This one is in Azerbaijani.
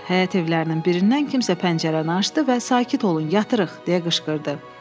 Həyət evlərinin birindən kimsə pəncərəni açdı və sakit olun, yatırıq deyə qışqırdı.